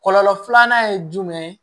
Kɔlɔlɔ filanan ye jumɛn ye